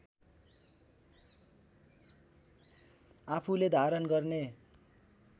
आफूले धारण गर्ने